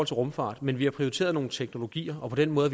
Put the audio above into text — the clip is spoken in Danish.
til rumfart men vi har prioriteret nogle teknologier og på den måde